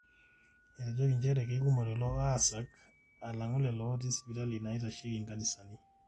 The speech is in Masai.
etejoki njere kekumok lelo aasak alang'u lelo ootii isipitalini naaitasheiki inkanisani